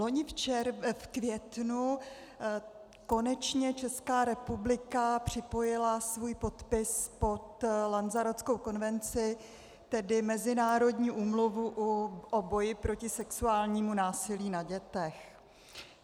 Vloni v květnu konečně Česká republika připojila svůj podpis pod Lanzarotskou konvenci, tedy mezinárodní úmluvu o boji proti sexuálnímu násilí na dětech.